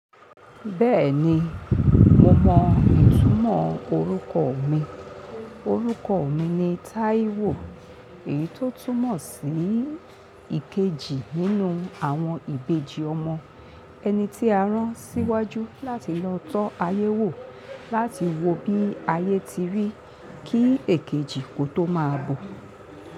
Bẹ́ẹ̀ni, mo mọ ìtumọ̀ orúkọ mi. Orúkọ mi ni Taiwo, èyí tó túmọ̀ sí ìkejì nínú àwọn ìbejì ọmọ. Ẹni tí a rán síwájú láti lọ tọ́ ayé wò, láti wo bí ayé ti rí kí èkejì kó tó máa bọ̀.